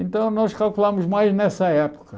Então, nós calculámos mais nessa época.